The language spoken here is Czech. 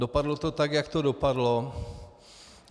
Dopadlo to tak, jak to dopadlo.